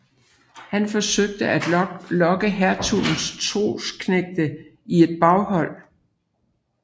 Han forsøgte at lokke hertugens trossknægte i et baghold